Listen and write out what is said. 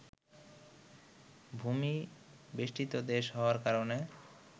ভূমি-বেষ্টিত দেশ হওয়ার কারণে